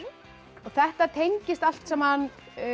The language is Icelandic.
þetta tengist allt saman